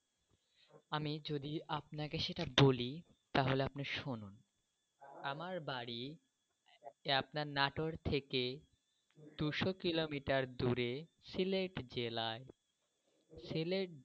আমি যদি আপনাকে সেটা বলি তাহলে আপনি শুনুন। আমার বাড়ি আপনার নাটোর থেকে দুশো কিলোমিটার দূরে সিলেট জেলায়। সিলেট।